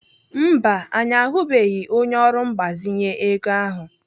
Mba, anyị ahụbeghị onye ọrụ mgbazinye ego ahụ.